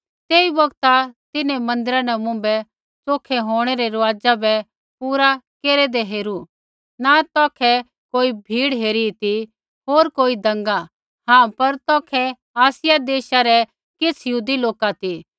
तेई बौगता तिन्हैं मन्दिरा न मुँभै च़ोखै होंणै रै रुआज़ा बै पूरा केरदै हेरू न तौखै कोई भीड़ हेरी ती होर कोई दँगा हाँ पर तौखै आसियै देशा रै किछ़ यहूदी लोक ती